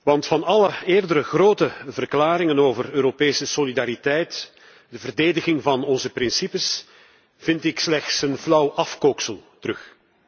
Want van alle eerdere grote verklaringen over Europese solidariteit en de verdediging van onze principes, vind ik slechts een flauw afkooksel terug.